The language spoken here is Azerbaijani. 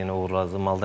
Yenə uğurlar arzulayırıq.